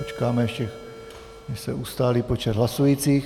Počkáme ještě, než se ustálí počet hlasujících.